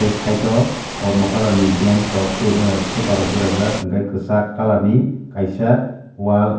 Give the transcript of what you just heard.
site o kormo kalar ni bantch rok tai super rok berajak tai kwchak kalar ni kaisa wall.